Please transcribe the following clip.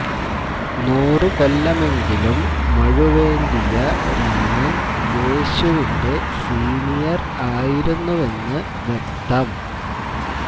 നൂറു കൊല്ലമെങ്കിലും മഴുവേന്തിയ രാമൻ യേശുവിന്റെ സീനിയർ ആയിരുന്നുവെന്ന് വ്യക്തം